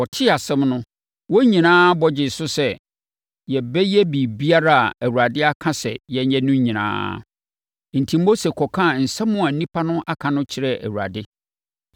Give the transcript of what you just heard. Wɔtee asɛm no, wɔn nyinaa bɔ gyee so sɛ, “Yɛbɛyɛ biribiara a Awurade aka sɛ yɛnyɛ no nyinaa.” Enti, Mose kɔkaa nsɛm a nnipa no aka no kyerɛɛ Awurade.